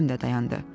Adəm də dayandı.